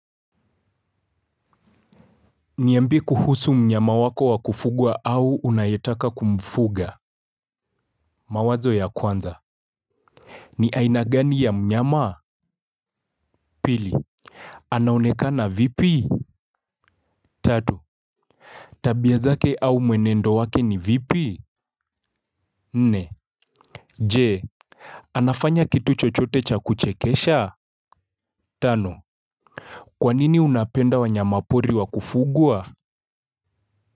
Niyambie kuhusu mnyama wako wa kufugwa au unayetaka kumfuga mawazo ya kwanza ni aina gani ya mnyama pili anaonekana vipi. Tatu tabia zake au mwenendo wake ni vipi. Nne Je Anafanya kitu chochote cha kuchekesha. Tano kwanini unapenda wanyamapori wa kufugwa.